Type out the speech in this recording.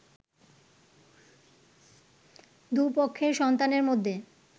দুই পক্ষের সন্তানের মধ্যে